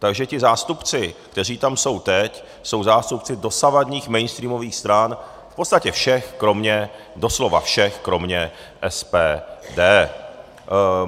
Takže ti zástupci, kteří jsou tam teď, jsou zástupci dosavadních mainstreamových stran, v podstatě všech kromě, doslova všech kromě SPD.